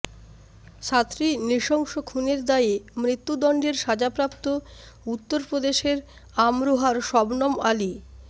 সাতটি নৃশংস খুনের দায়ে মৃত্যুদণ্ডের সাজাপ্রাপ্ত উত্তরপ্রদেশের আমরোহার শবনম আলি